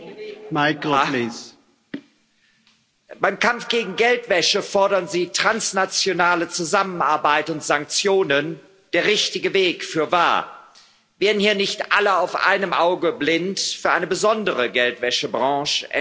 Herr Präsident! Beim Kampf gegen Geldwäsche fordern Sie transnationale Zusammenarbeit und Sanktionen. Der richtige Weg, fürwahr wären hier nicht alle auf einem Auge blind für eine besondere Geldwäschebranche NGOs.